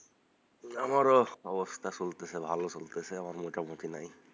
আমারও অবস্থা চলতেছে ভালো চলতেছে আমার মোটামুটি নাই,